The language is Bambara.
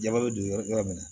Jama bɛ don yɔrɔ yɔrɔ min na